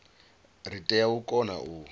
ri tea u kona u